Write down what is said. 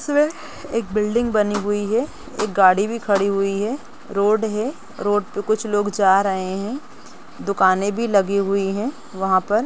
एक बिल्डिंग भी बनी हुई है गाड़ी भी खड़ी हुई है रोड़ है रोड़ पे कुछ लोग जा रहे है दुकाने भी लगी हुई है। वहां पर --